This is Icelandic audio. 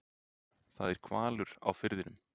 Það er hvalur á firðinum.